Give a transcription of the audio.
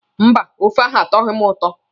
Mba, ófé ahụ atọghị m ụtọ.